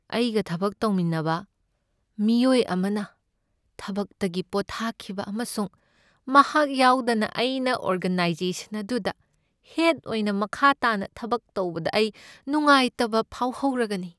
ꯑꯩꯒ ꯊꯕꯛ ꯇꯧꯃꯤꯟꯅꯕ ꯃꯤꯑꯣꯏ ꯑꯃꯅ ꯊꯕꯛꯇꯒꯤ ꯄꯣꯊꯥꯈꯤꯕ ꯑꯃꯁꯨꯡ ꯃꯍꯥꯛ ꯌꯥꯎꯗꯅ ꯑꯩꯅ ꯑꯣꯔꯒꯅꯥꯏꯖꯦꯁꯟ ꯑꯗꯨꯗ ꯍꯦꯗ ꯑꯣꯏꯅ ꯃꯈꯥ ꯇꯥꯅ ꯊꯕꯛ ꯇꯧꯕꯗ ꯑꯩ ꯅꯨꯡꯉꯥꯏꯇꯕ ꯐꯥꯎꯍꯧꯔꯒꯅꯤ꯫